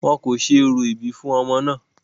wọn kò ṣe orò ìbí fún ọmọ náà